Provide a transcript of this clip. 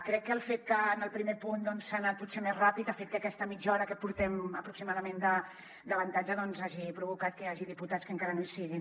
crec que el fet que en el primer punt doncs s’ha anat potser més ràpid ha fet que aquesta mitja hora que portem aproximadament d’avantatge hagi provocat que hi hagi diputats que encara no hi siguin